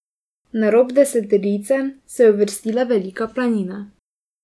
Na rob deseterice se je uvrstila Velika Planina.